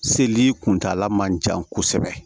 Seli kuntaala man jan kosɛbɛ